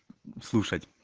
слушать